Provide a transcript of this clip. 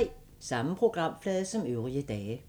Samme programflade som øvrige dage